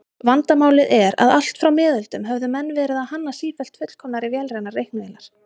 Vandamálið er að allt frá miðöldum höfðu menn verið að hanna sífellt fullkomnari vélrænar reiknivélar.